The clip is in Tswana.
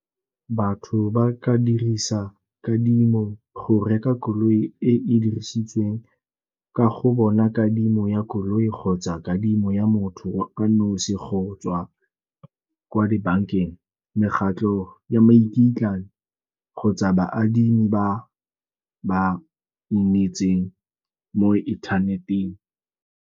Batho ba ka dirisa kadimo go reka koloi e e dirisitsweng ka go bona kadimo ya koloi kgotsa kadimo ya motho ka nosi go tswa kwa dibankeng, mekgatlho ya kgotsa baadimi ba ba mo inthaneteng.